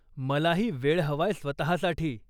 मलाही वेळ हवाय स्वतःसाठी.